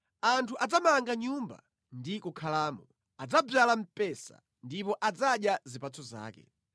Anthu adzamanga nyumba ndi kukhalamo, adzadzala mpesa ndipo adzadya zipatso zake.